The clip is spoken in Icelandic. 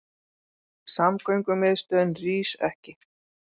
Samgöngumiðstöðin rís ekki